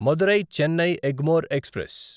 Madurai Chennai Egmore express